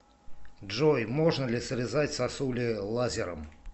джой можно ли срезать сосули лазером